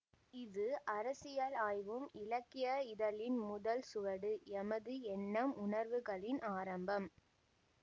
இது அரசியல் ஆய்வும் இலக்கிய இதழின் முதல் சுவடு எமது எண்ணம் உணர்வுகளின் ஆரம்பம்